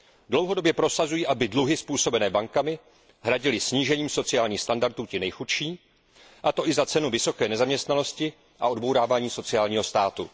Dlouhodobě prosazují, aby dluhy způsobené bankami hradili snížením sociálních standardů ti nejchudší, a to i za cenu vysoké nezaměstnanosti a odbourávání sociálního státu.